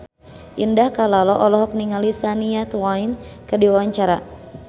Indah Kalalo olohok ningali Shania Twain keur diwawancara